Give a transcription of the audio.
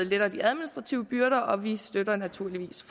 letter de administrative byrder og vi støtter naturligvis